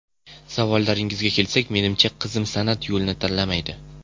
Savolingizga kelsak, menimcha qizim san’at yo‘lini tanlamaydi.